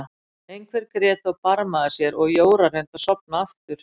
Einhver grét og barmaði sér og Jóra reyndi að sofna aftur.